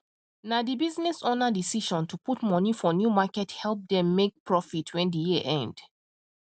na the business owner decision to put money for new market help them make profit wen the year end